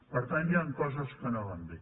per tant hi han coses que no van bé